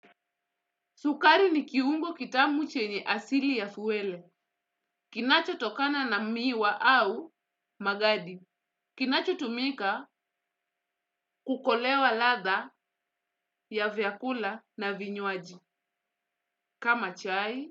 Sukari ni kiungo kitamu chenye asili ya fuwele, kinacho tokana na miwa au magadi, kinacho tumika kukolewa ladha ya vyakula na vinywaji, kama chai,